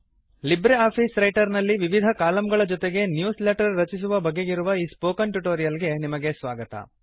Libre office Writer ನಲ್ಲಿ ವಿವಿಧ ಕಾಲಮ್ಗಳ ಜೊತೆಗೆ ನ್ಯೂಸ್ ಲೆಟರ್ ರಚಿಸುವ ಬಗೆಗಿರುವ ಈ ಸ್ಪೋಕನ್ ಟ್ಯುಟೋರಿಯಲ್ ಗೆ ನಿಮಗೆ ಸ್ವಾಗತ